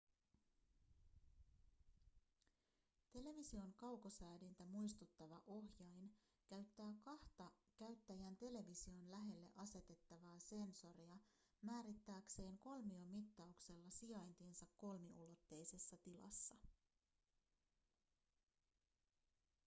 television kaukosäädintä muistuttava ohjain käyttää kahta käyttäjän television lähelle asetettavaa sensoria määrittääkseen kolmiomittauksella sijaintinsa kolmiulotteisessa tilassa